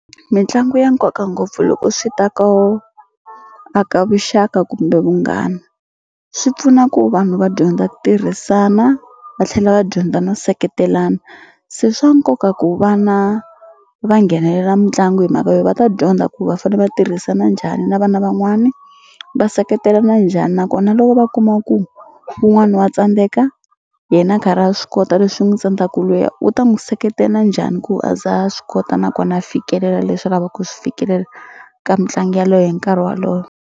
Mitlangu ya nkoka ngopfu loko swi ta ko aka vuxaka kumbe vunghana swi pfuna ku vanhu va dyondza ku tirhisana va tlhela va dyondza na nseketelano se swa nkoka ku vana va nghenelela mitlangu hi mhaka yo va ta dyondza ku va fane va tirhisana njhani na vana van'wani va seketelana njhani nakona loko va kuma ku wun'wani wa tsandzeka yena a karhi a swi kota leswi n'wu tsandzaku luya u ta n'wu seketela njhani ku a za a swi kota nakona fikelela leswi a lavaku ku swi fikelela ka mitlangu yaleyo hi nkarhi wolowo.